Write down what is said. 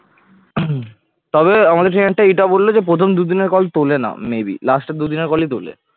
তবে আমাকে এইটা বলল যে প্রথম দুদিনের call তোলে না maybe last এর দুদিনের call ই তোলে